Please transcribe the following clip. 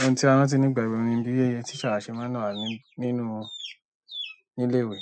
ohun tí a rántí nígbà èwe ni bí àwọn teacher ṣe máa ń wà nínú ilé ìwé.